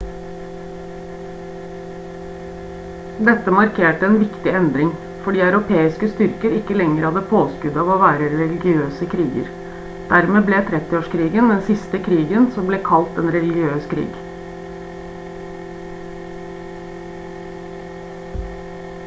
dette markerte en viktig endring fordi europeiske styrker ikke lenger hadde påskuddet av å være religiøse kriger dermed ble 30-årskrigen den siste krigen som ble kalt en religiøs krig